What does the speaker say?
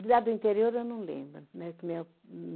De lá do interior, eu não lembro. Né que meu